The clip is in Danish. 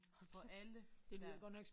Hvor alle der er